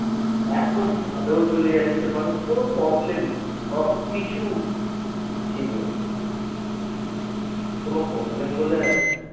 এখন চাঁদেও চলে যাচ্ছে মানুষ কোনো problem নেই সবকিছু ঠিক হচ্ছে। কোনো problem বলে